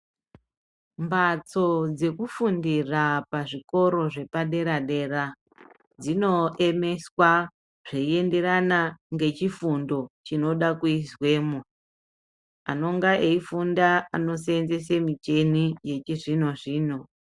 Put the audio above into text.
Mbatso dzekufundira pazvikora zvepadera dera dzinoemeswa zveienderana ngechifundo chinoda kuiswemo. Anonga eifunda anoseenzese michini yechizvino-zvino